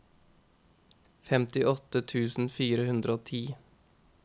femtiåtte tusen fire hundre og ti